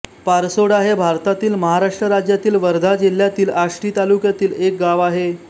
पारसोडा हे भारतातील महाराष्ट्र राज्यातील वर्धा जिल्ह्यातील आष्टी तालुक्यातील एक गाव आहे